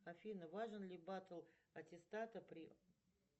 афина важен ли батл аттестата при